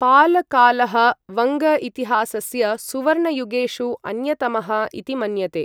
पाल कालः, वङ्ग इतिहासस्य सुवर्णयुगेषु अन्यतमः इति मन्यते।